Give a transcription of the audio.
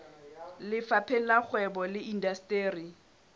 lefapheng la kgwebo le indasteri